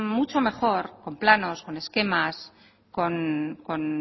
mucho mejor con planos con esquemas con